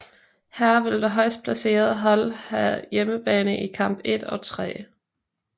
Her vil det højst placeret hold have hjemmebane i kamp 1 og 3